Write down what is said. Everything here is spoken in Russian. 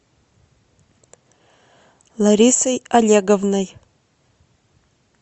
ларисой олеговной